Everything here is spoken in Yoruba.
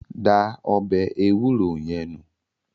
Da ọbẹ̀ ewúro yẹn nù.